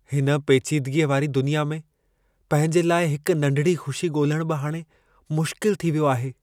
हिन पेचीदगीअ वारी दुनिया में, पंहिंजे लाइ हिक नंढिड़ी ख़ुशी ॻोल्हणु बि हाणे मुश्किलु थी वियो आहे।